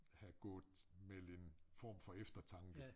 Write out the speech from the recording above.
Have gået med en form for eftertanke